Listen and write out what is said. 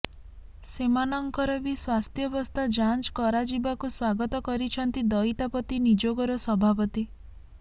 ସେମାନଙ୍କର ବି ସ୍ୱାସ୍ଥ୍ୟବସ୍ଥା ଯାଞ୍ଚ କରାଯିବାକୁ ସ୍ୱାଗତ କରିଛନ୍ତି ଦଇତାପତି ନିଯୋଗର ସଭାପତି